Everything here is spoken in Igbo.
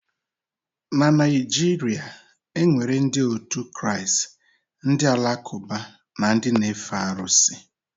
Na Naịjirịa enwere ndị òtù Kraịst, ndị alakụba na ndị n'efe arụsị.